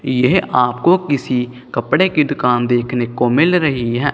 यह आपको किसी कपड़े की दुकान देखने को मिल रही है।